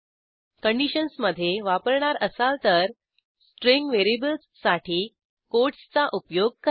कंडिशन्समधे वापरणार असाल तर स्ट्रिंग व्हेरिएबल्ससाठी कोटसचा उपयोग करा